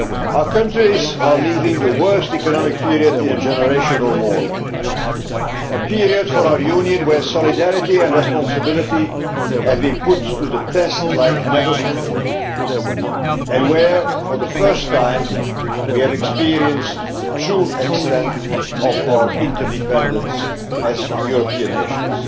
Our countries are leaving the worst economic period in a generation or more a period for our Union in which solidarity and responsibility have been put to the test like never before and in which, for the first time, we have experienced the true extent of our interdependence as European nations.